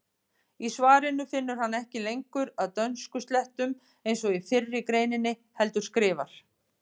Í svarinu finnur hann ekki lengur að dönskuslettum eins og í fyrri greininni heldur skrifar: